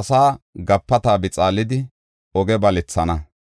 asaa gapata bixaalidi oge balethana.